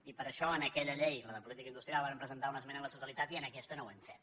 i per això en aquella llei la de política industrial vàrem presentar una esmena a la totalitat i en aquesta no ho hem fet